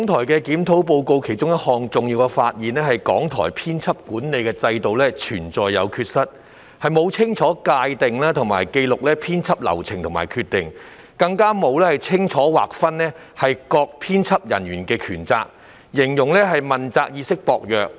《檢討報告》中的重要發現之一，是港台的編輯管理制度存在缺失，既沒有清楚界定和紀錄編輯流程和決定，也沒有清楚劃分各編輯人員的權責，被形容為問責意識薄弱。